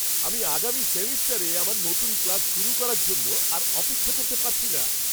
আমি আগামী সেমেস্টারে আমার নতুন ক্লাস শুরু করার জন্য আর অপেক্ষা করতে পারছি না!